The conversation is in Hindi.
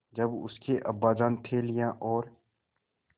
जब उसके अब्बाजान थैलियाँ और